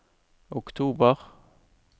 oktober